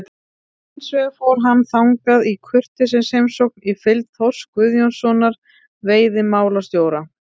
Hins vegar fór hann þangað í kurteisisheimsókn í fylgd Þórs Guðjónssonar veiðimálastjóra.